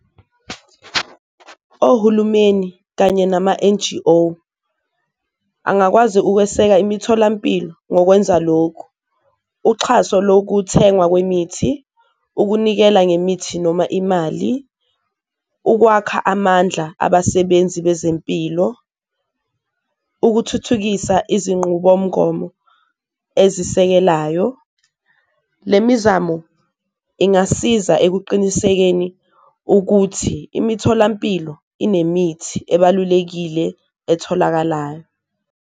Ohulumeni kanye nama-N_G_O angakwazi ukweseka imitholampilo ngokwenza lokhu, uxhaso lokuthengwa kwemithi, ukunikela ngemithi noma imali, ukwakha amandla abasebenzi bezempilo, ukuthuthukisa izinqubomgomo ezisekelayo. Le mizamo ingasiza ekuqinisekeni ukuthi imitholampilo inemithi ebalulekile etholakalayo.